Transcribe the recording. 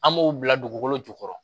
An b'o bila dugukolo jukɔrɔ